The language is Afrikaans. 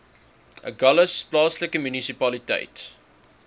agulhas plaaslike munisipaliteit